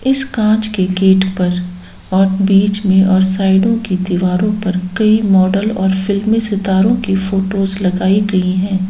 इस कांच के गेट पर और बीच में और साइडो के दीवारों पे कई मॉडल और फिल्मी सितारों की फोटोज लगाई गई है।